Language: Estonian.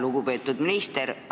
Lugupeetud minister!